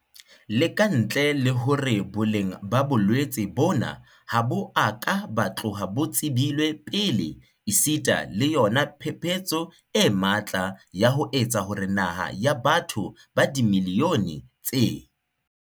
Le ka ntle le hore boleng ba bolwetse bona ha bo a ka ba tloha bo tsebilwe pele esita le yona phephetso e matla ya ho etsa hore naha ya batho ba dimiliyone tse